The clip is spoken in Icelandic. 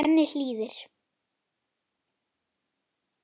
Svenni hlýðir.